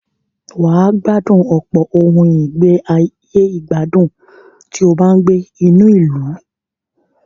Wà á gbádùn ọ̀pọ̀ ohùn ìgbàyè gbádùn tí ó bá ń gbé inú ìlú.